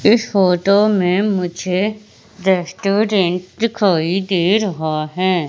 इस फोटो में मुझे रेस्टोरेंट दिखाई दे रहा है।